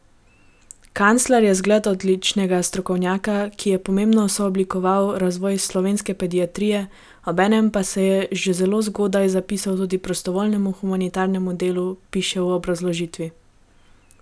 Kancler je zgled odličnega strokovnjaka, ki je pomembno sooblikoval razvoj slovenske pediatrije, obenem pa se je že zelo zgodaj zapisal tudi prostovoljnemu humanitarnemu delu, piše v obrazložitvi.